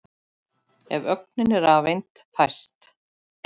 Ef ögnin er rafeind fæst